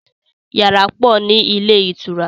Yàrá pọ̀ ni ilé ìtura.